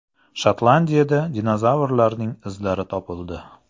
Shotlandiyada dinozavrlarning izlari topildi.